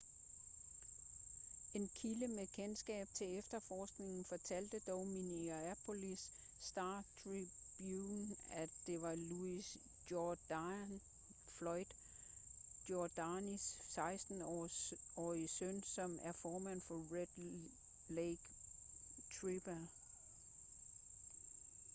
en kilde med kendskab til efterforskningen fortalte dog minneapolis star-tribune at det var louis jourdain floyd jourdains 16-årige søn som er formanden for red lake tribal